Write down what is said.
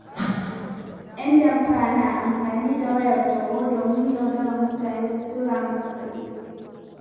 ‘Yan damfara na amfani da wayar tarho domin yaudarar mutane su tura musu kuɗi.